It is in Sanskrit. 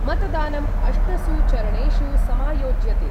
मतदानम् अष्टसु चरणेषु समायोज्यते।